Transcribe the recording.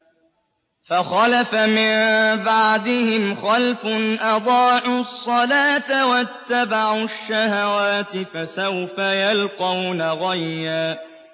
۞ فَخَلَفَ مِن بَعْدِهِمْ خَلْفٌ أَضَاعُوا الصَّلَاةَ وَاتَّبَعُوا الشَّهَوَاتِ ۖ فَسَوْفَ يَلْقَوْنَ غَيًّا